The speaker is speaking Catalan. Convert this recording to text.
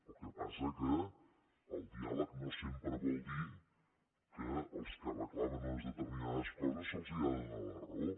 el que passa que el diàleg no sempre vol dir que als que reclamen unes determinades coses se’ls ha de donar la raó